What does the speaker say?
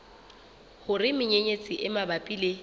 hore menyenyetsi e mabapi le